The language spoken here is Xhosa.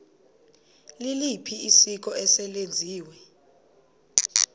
liliphi isiko eselenziwe